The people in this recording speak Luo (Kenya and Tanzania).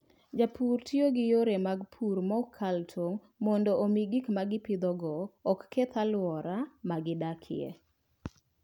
Jopur tiyo gi yore mag pur ma ok kal tong' mondo omi gik ma gipidhogo oketh alwora ma gidakie.